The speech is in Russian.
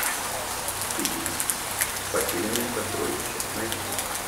фильм потерянные сокровища найти